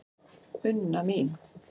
Unna mín.